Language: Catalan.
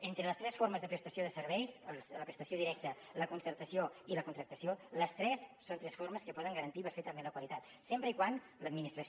entre les tres formes de prestació de serveis la prestació directa la concertació i la contractació les tres són tres formes que poden garantir perfectament la qualitat sempre que l’administració